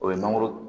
O ye mangoro